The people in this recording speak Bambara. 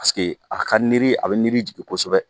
Paseke a ka niri, a bɛ niri jigin kosɛbɛ.